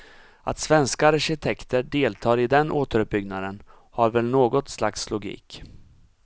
Att svenska arkitekter deltar i den återuppbyggnaden har väl något slags logik.